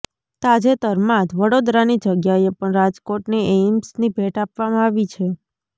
તાજેતરમાં જ વડોદરાની જગ્યાએ પણ રાજકોટને એઈમ્સની ભેટ આપવામાં આવી છે